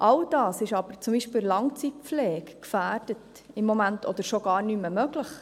All das ist aber zum Beispiel in der Langzeitpflege im Moment gefährdet oder schon gar nicht mehr möglich.